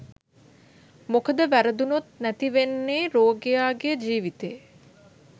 මොකද වැරදුනොත් නැති වෙන්නේ රෝගියාගේ ජීවිතේ